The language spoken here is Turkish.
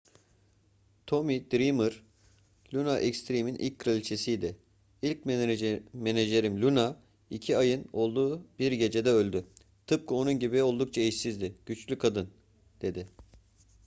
tommy dreamer luna extreme'in ilk kraliçesiydi. i̇lk menajerim luna iki ayın olduğu bir gecede öldü. tıpkı onun gibi oldukça eşsiz. güçlü kadın. dedi